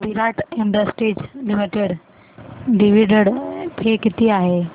विराट industries limited dividend pay किती आहे